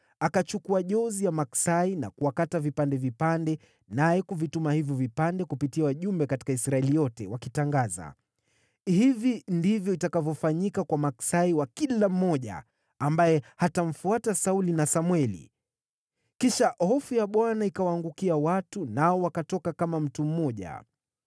Akachukua jozi ya maksai na kuwakata vipande vipande, naye kuvituma hivyo vipande kupitia wajumbe katika Israeli yote, wakitangaza, “Hivi ndivyo itakavyofanyika kwa maksai wa kila mmoja ambaye hatamfuata Sauli na Samweli.” Kisha hofu ya Bwana ikawaangukia watu, nao wakatoka kama mtu mmoja.